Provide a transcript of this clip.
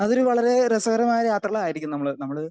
speaker 2 അതൊരു വളരെ രസകരമായ യാത്രകളായിരിക്കും നമ്മള് നമ്മള്